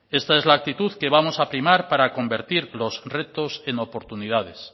esta es la actitud que vamos a primar para convertir los retos en oportunidades